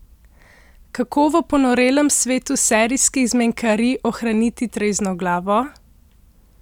Kako v ponorelem svetu serijskih zmenkarij ohraniti trezno glavo?